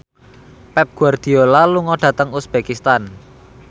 Pep Guardiola lunga dhateng uzbekistan